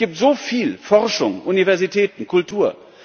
Es gibt so viel Forschung, Universitäten, Kultur.